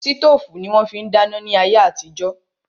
Sítòfù ni wón fi ń dáná ní ayé àtijó